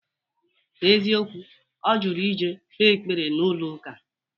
N'eziokwu, ọ jụrụ ije kpee ekpere n'ụlọ ụka